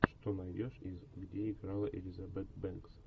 что найдешь из где играла элизабет бэнкс